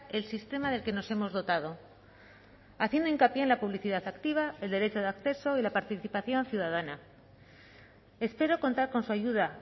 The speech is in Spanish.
el sistema del que nos hemos dotado haciendo hincapié en la publicidad activa el derecho de acceso y la participación ciudadana espero contar con su ayuda